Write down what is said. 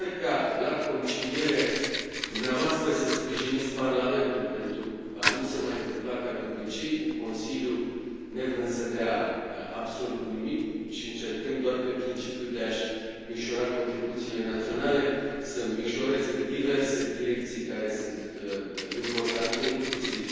Sper ca, la conciliere, dumneavoastră să sprijiniți Parlamentul, pentru a nu se mai întâmpla ca de obicei, cu Consiliul nevrând să dea absolut nimic, ci încercând doar pe principiul de a și micșora contribuțiile naționale să micșoreze diverse direcții care sunt importante, inclusiv